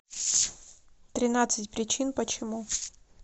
тринадцать причин почему